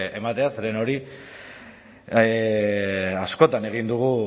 ematea zeren hori askotan egin dugu